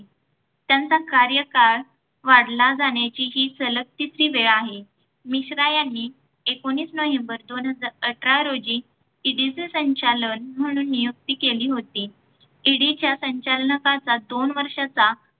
त्याचा कार्यकाळ वाढला जाण्याची ही सलग तिसरी वेळ आहे. मिश्रा यांनी एकोणीस नवंबर दोन हजार अठरा रोजी ED चे संचालक म्हणून नियुक्ती केली होती. ED च्या संचालकांचा दोन वर्षांचा